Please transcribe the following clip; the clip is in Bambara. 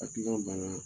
Hakilina banna